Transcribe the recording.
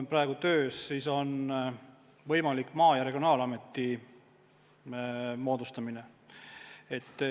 Praegu on töös võimalik Maa- ja Regionaalameti moodustamine.